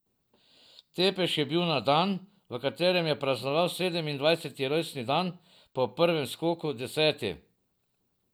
Tepeš je bil na dan, v katerem je praznoval sedemindvajseti rojstni dan, po prvem skoku deseti.